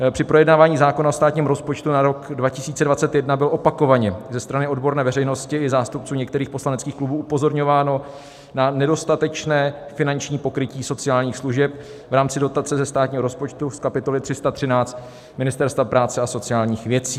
Při projednávání zákona o státním rozpočtu na rok 2021 bylo opakovaně ze strany odborné veřejnosti i zástupců některých poslaneckých klubů upozorňováno na nedostatečné finanční pokrytí sociálních služeb v rámci dotace ze státního rozpočtu z kapitoly 313 Ministerstva práce a sociálních věcí.